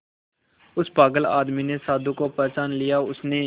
उस पागल आदमी ने साधु को पहचान लिया उसने